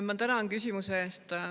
Ma tänan küsimuse eest.